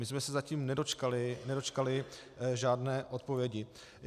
My jsme se zatím nedočkali žádné odpovědi.